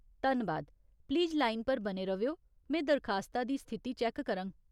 धन्नबाद, please line पर बने र'वेओ, में दरखास्ता दी स्थिति चैक्क करङ।